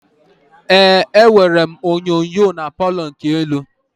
Ee, enwerọ m onyinyo na Palọ nke elu